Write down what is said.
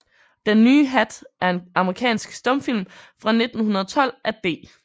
Den nye Hat er en amerikansk stumfilm fra 1912 af D